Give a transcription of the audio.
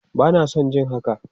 Bana son jin haka!